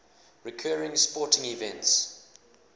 recurring sporting events